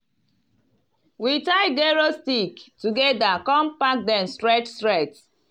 we tie gero sticks together come pack dem straight straight.